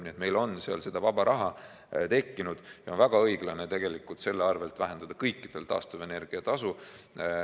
Nii et meil on seal vaba raha tekkinud ja on väga õiglane selle arvel vähendada kõikidel taastuvenergia tasu.